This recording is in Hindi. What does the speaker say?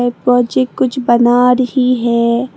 बच्ची कुछ बना रही है।